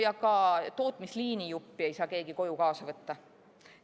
Ja ka tootmisliinijuppi ei saa keegi koju kaasa võtta.